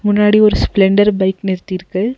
முன்னாடி ஒரு Splendor bike நிறுத்திருக்கு.